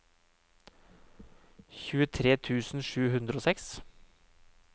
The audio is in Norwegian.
tjuetre tusen sju hundre og seks